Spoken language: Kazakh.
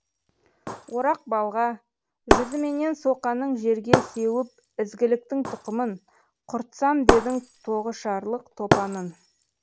орақ балға жүзіменен соқаның жерге сеуіп ізгіліктің тұқымын құртсам дедің тоғышарлық топанын